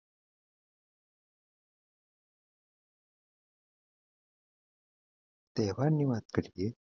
તહેવારની વાત કરીએ